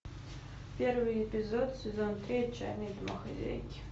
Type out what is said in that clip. первый эпизод сезон три отчаянные домохозяйки